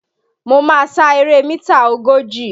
Mo máa sa eré mítà ogójì